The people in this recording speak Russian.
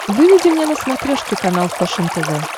выведи мне на смотрешке канал фэшен тв